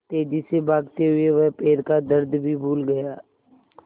तेज़ी से भागते हुए वह पैर का दर्द भी भूल गया